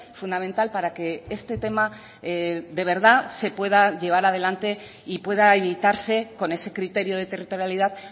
fundamental para que este tema de verdad se pueda llevar adelante y pueda evitarse con ese criterio de territorialidad